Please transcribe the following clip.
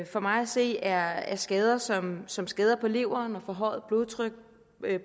for mig at se er er skader som som skader på leveren og forhøjet blodtryk